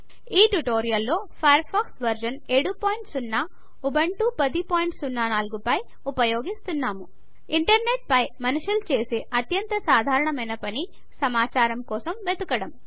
ఈ ట్యుటోరియల్లో Firefox version 70 Ubuntu 1004 పైన ఉపయోగిస్తున్నాము ఇంటర్నెట్ పైన మనుషులు చేసే అత్యంత సాధారణమైన పని సమాచారం కోసం వెదకడం